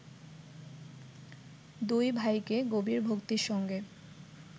দুই ভাইকে গভীর ভক্তির সঙ্গে